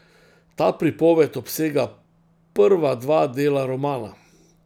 Ta pripoved obsega prva dva dela romana.